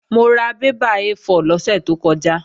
Mo ra bébà A4 lọ́sẹ̀ tó kọjá